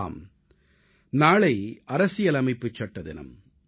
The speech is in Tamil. ஆம் நாளை அரசியலமைப்புச் சட்ட தினம்